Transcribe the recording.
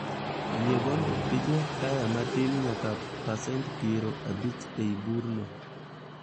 Yie mondo iduok taya matin nyaka pasent piero abich ei burno